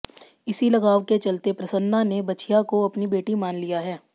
इसी लगाव के चलते प्रसन्ना ने बछिया को अपनी बेटी मान लिया है